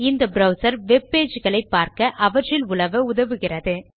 இந்த browser web pages களை பார்க்க அவற்றில் உலவ உதவுகிறது